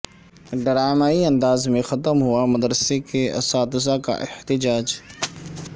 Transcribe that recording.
ڈرامائی انداز میں ختم ہوا مدرسہ اساتذہ کا احتجاج